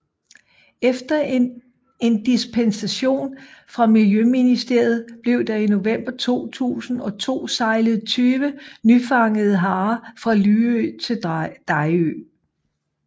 Efter en dispensation fra Miljøministeriet blev der i november 2002 sejlet 20 nyfangede harer fra Lyø til Dejrø